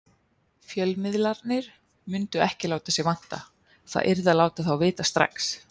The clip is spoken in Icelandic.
Fjölmiðlarnir mundu ekki láta sig vanta, það yrði að láta þá vita strax.